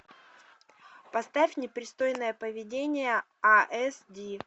поставь непристойное поведение а эс ди